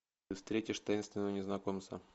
ты встретишь таинственного незнакомца